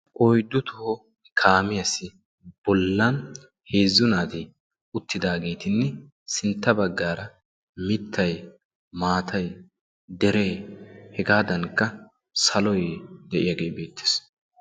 Oyddu toho kaamiyaassi bollan heezzu naati uttidaageetinne sintta baggaara mittay maatay deree hegaadankka saloy de'iyaagee beettees.